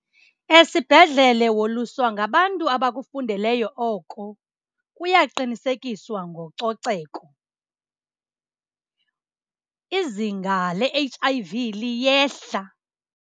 Esibhedlele woluswa ngabantu abakufundeleyo oko. Kuya qinisekiswa ngococeko. Izinga le-H_I_V liyehla.